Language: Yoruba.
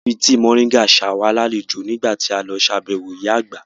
Wọ́n fi tíì moringa ṣe wá lálejò nígbà tí a lọ ṣàbẹ̀wọ̀ ìyá Àgbà